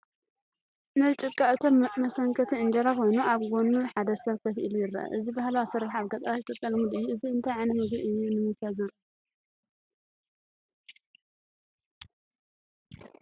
ናይ ጭቃ እቶን መሰንከቲ እንጀራ ኮይኑ፡ ኣብ ጎድኑ ሓደ ሰብ ኮፍ ኢሉ ይረአ። እዚ ባህላዊ ኣሰራርሓ ኣብ ገጠራት ኢትዮጵያ ልሙድ እዩ። እዚ እንታይ ዓይነት ምግቢ እዩ ንምብሳል ዝውዕል እዩ?